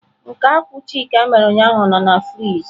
Nke akwu chika mere ụnyahụ nọ na frịjị.